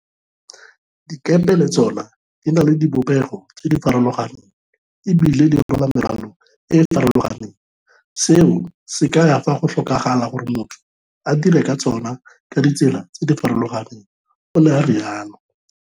Dikepe le tsona di na le dibopego tse di farolo ganeng e bile dirwala merwalo e e farologaneng, seo se kaya fa go tlhokagala gore motho a dire ka tsona ka ditsela tse di farologaneng, o ne a rialo